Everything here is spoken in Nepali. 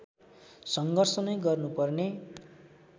सङ्घर्ष नै गर्नुपर्ने